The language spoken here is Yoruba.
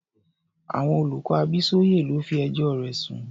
Àwọn olùkọ́ Abísóyè ló fi ẹjọ́ rẹ̀ sùn.